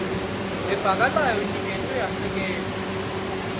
levakalako iniketwe yasekelwa